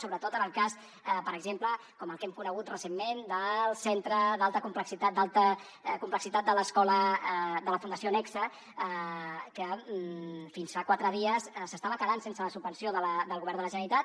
sobretot en el cas per exemple com el que hem conegut recentment del centre d’alta complexitat de l’escola de la fundació nexe que fins fa quatre dies s’estava quedant sense la subvenció del govern de la generalitat